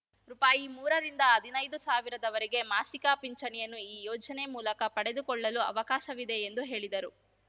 ರೂಪಾಯಿಮೂರ ರಿಂದ ಹದಿನೈದು ಸಾವಿರದವರೆಗೆ ಮಾಸಿಕ ಪಿಂಚಣಿಯನ್ನು ಈ ಯೋಜನೆ ಮೂಲಕ ಪಡೆದುಕೊಳ್ಳಲು ಅವಕಾಶವಿದೆ ಎಂದು ಹೇಳಿದರು